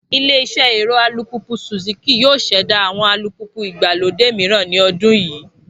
Ilé iṣẹ́ ẹ̀rọ alùpùpù Suzuki yóò ṣẹ̀dá àwọn alùpùpù ìgbàlódé mìíran ní ọdún yìí